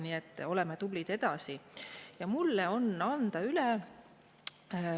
Nii et oleme tublid edasi!